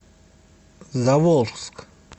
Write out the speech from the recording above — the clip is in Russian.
заволжск